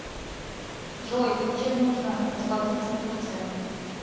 джой чем нужно расплатиться в турции